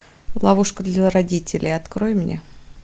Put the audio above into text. ловушка для родителей открой мне